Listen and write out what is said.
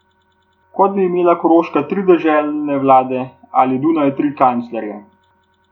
Kot bi imela Koroška tri deželne vlade ali Dunaj tri kanclerje.